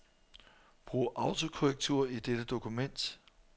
Brug autokorrektur i dette dokument.